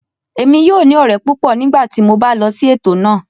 Èmi yóò ní ọ̀rẹ́ púpọ̀ nígbà tí mo bá lọ sí ètò náà